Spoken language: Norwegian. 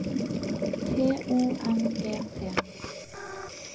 T U N G T